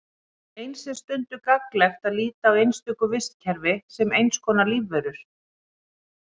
Eins er stundum gagnlegt að líta á einstök vistkerfi sem eins konar lífverur.